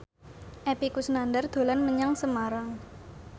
Epy Kusnandar dolan menyang Semarang